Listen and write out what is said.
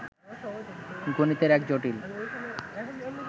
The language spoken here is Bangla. গণিতের এক জটিল